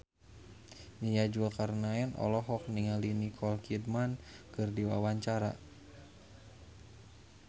Nia Zulkarnaen olohok ningali Nicole Kidman keur diwawancara